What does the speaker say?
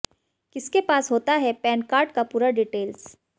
किसके पास होता है पैन कार्ड का पूरा डिटेल्स